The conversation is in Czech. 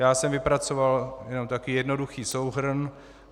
Já jsem vypracoval jenom takový jednoduchý souhrn.